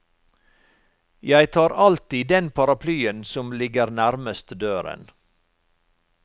Jeg tar alltid den paraplyen som ligger nærmest døren.